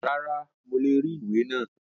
Rárá, mo le rí ìwé náà.